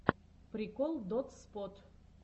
прикол дотспот